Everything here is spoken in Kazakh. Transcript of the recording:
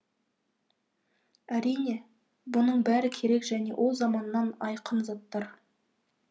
әрине бұның бәрі керек және о заманнан айқын заттар